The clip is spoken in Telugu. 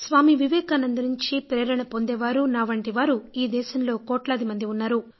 స్వామీ వివేకానంద నుంచి ప్రేరణ పొందేవారు నా వంటివారు ఈ దేశంలో కోట్లాది మంది ఉన్నారు